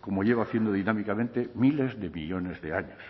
como lleva haciendo dinámicamente miles de millónes de años